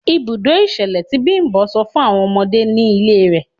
Ibùdó ìṣẹ̀lẹ̀ tí Bimbo sọ fún àwọn ọmọdé ni ilé rẹ̀.